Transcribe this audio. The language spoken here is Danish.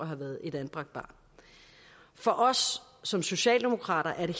have været et anbragt barn for os som socialdemokrater er det